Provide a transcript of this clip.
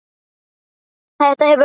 Þetta hefur glatt hana.